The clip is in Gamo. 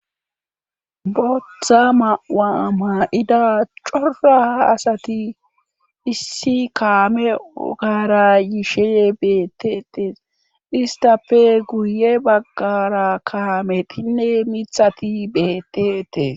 botha ma77a ma7ida cora asati issi kaame ogara yishe beettetes istape guye baggara kaametinne mithati beettetes